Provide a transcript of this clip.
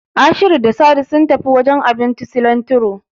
Ashiru da Sadi sun tafi wajen abincin Silantiro.